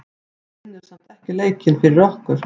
Hún vinnur samt ekki leikinn fyrir okkur.